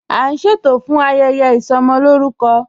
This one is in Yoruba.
A n ṣẹtò fún ayẹyẹ isọmọlórùkọ.